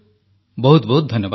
ବହୁତ ବହୁତ ଧନ୍ୟବାଦ